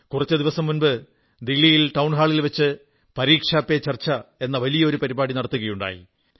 കുറച്ചു ദിവസം മുമ്പ് ദില്ലിയിൽ ടൌൺഹാളിൽ വച്ച് പരീക്ഷാ പേ ചർച്ച എന്ന വലിയ ഒരു പരിപാടി നടത്തുകയുണ്ടായി